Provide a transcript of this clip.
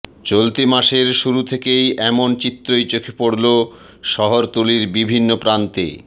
চলতি মাসের শুরু থেকেই এমন চিত্রই চোখে পড়ল শহরতলির বিভিন্ন প্রান্তে